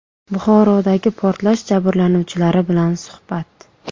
Buxorodagi portlash jabrlanuvchilari bilan suhbat.